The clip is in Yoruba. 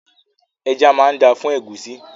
Ẹja máa dáa fún ẹ̀gúsí.